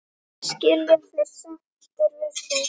Skilja þeir sáttir við þig?